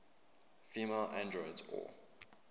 female androids or